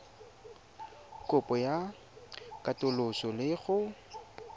kopo ya katoloso le go